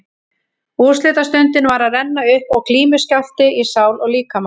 Úrslitastundin var að renna upp og glímuskjálfti í sál og líkama.